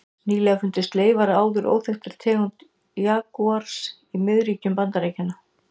Nýlega fundust leifar af áður óþekktri tegund jagúars í miðríkjum Bandaríkjanna.